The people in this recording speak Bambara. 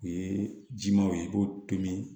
O ye jimanw ye i b'o tobi